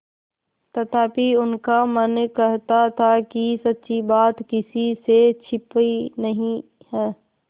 तथापि उनका मन कहता था कि सच्ची बात किसी से छिपी नहीं है